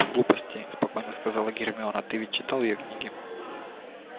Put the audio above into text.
глупости сказала спокойно гермиона ты ведь читал её книги